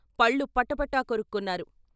పళ్ళు పటపట కొరుక్కున్నారు.